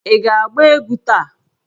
Ị ga-agba egwu taa!